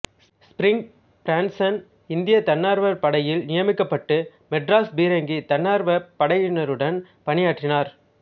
spring Branson இந்திய தன்னார்வப் படையில் நியமிக்கப்பட்டு மெட்ராஸ் பீரங்கி தன்னார்வ படையினருடன் பணியாற்றினார்